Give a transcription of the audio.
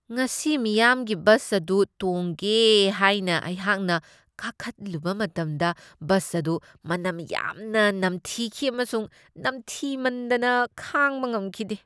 ꯉꯁꯤ ꯃꯤꯌꯥꯝꯒꯤ ꯕꯁ ꯑꯗꯨ ꯇꯣꯡꯒꯦ ꯍꯥꯏꯅ ꯑꯩꯍꯥꯛꯅ ꯀꯥꯈꯠꯂꯨꯕ ꯃꯇꯝꯗ ꯕꯁ ꯑꯗꯨ ꯃꯅꯝ ꯌꯥꯝꯅ ꯅꯝꯊꯤꯈꯤ ꯑꯃꯁꯨꯡ ꯅꯝꯊꯤꯃꯟꯗꯅ ꯈꯥꯡꯕ ꯉꯝꯈꯤꯗꯦ ꯫